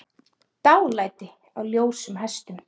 Dálæti á ljósum hestum